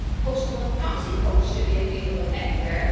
postal and proxy votes should be available everywhere